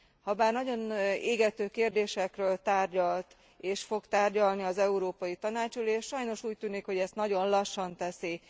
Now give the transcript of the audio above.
Habár nagyon égető kérdésekről tárgyalt és fog tárgyalni az Európai Tanács ülése, sajnos úgy tűnik, hogy ezt nagyon lassan teszi.